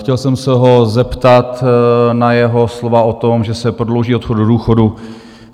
Chtěl jsem se ho zeptat na jeho slova o tom, že se prodlouží odchod do důchodu.